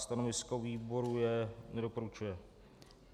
Stanovisko výboru je: nedoporučuje.